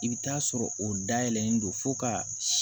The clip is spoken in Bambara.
I bɛ taa sɔrɔ o dayɛlɛlen don fo ka